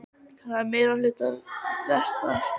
Er að því meiri hluta vetrar.